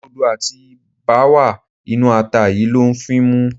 Rodo àti báwà inú ata yìí ló ń fímú.